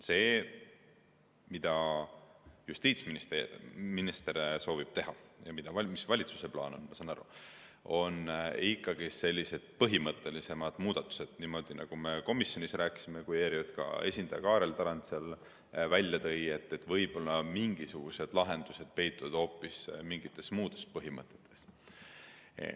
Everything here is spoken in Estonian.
See, mida justiitsminister soovib teha ja mille kohta valitsusel plaan valmis on, ma sain aru, on ikkagi sellised põhimõttelisemad muudatused, niimoodi nagu me komisjonis rääkisime, kui ERJK esindaja Kaarel Tarand seal välja tõi, et võib-olla mingisugused lahendused peituvad hoopis mingites muudes põhimõtetes.